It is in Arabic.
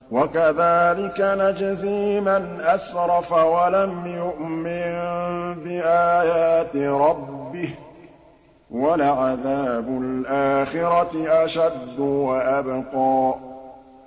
وَكَذَٰلِكَ نَجْزِي مَنْ أَسْرَفَ وَلَمْ يُؤْمِن بِآيَاتِ رَبِّهِ ۚ وَلَعَذَابُ الْآخِرَةِ أَشَدُّ وَأَبْقَىٰ